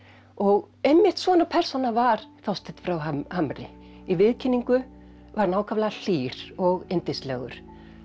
og einmitt svona persóna var Þorsteinn frá Hamri í viðkynningu var hann ákaflega hlýr og yndislegur